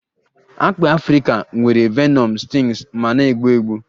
Akpị Afrika nwere venom stings ma na-egbu egbu